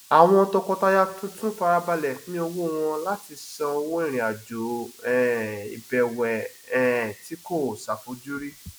àwọn tọkọtaya tuntun farabale pin owó wọn láti san owó irinajo um ìbẹwẹ um tí kò ṣàfojúrí